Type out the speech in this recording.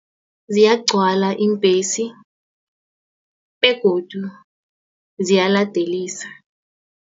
Ziyagcwala iimbhesi begodu ziyaladelisa.